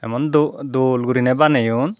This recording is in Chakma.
emon doh dol gurinei baneyon.